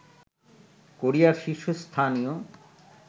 কোরিয়ার শীর্ষস্থানীয়